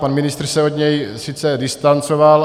Pan ministr se od něj sice distancoval.